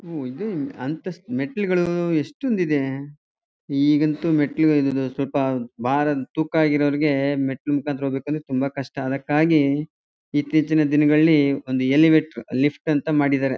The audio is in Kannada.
ಓ ಇದು ಅಂತಸ್ತು ಮೆಟ್ಲುಗಳು ಎಷ್ಟೊಂದು ಇದೆ ಈಗಂತೂ ಮೆಟ್ಲಗಲ್ ಸ್ವಲ್ಪ ಭಾರ ತೂಕ ಆಗಿರವರಿಗೆ ಮೆಟ್ಲು ಮುಕಾಂತ್ರ ಹೋಗ್ಬೇಕು ಅಂದ್ರೆ ತುಂಬಾ ಕಷ್ಟ ಅದಕಾಗಿ ಇತ್ತೀಚಿನ ದಿನಗಳಲ್ಲಿ ಒಂದು ಎಲಿವೇಟರ್ ಲಿಫ್ಟ್ ಅಂತ ಮಾಡಿದರೆ.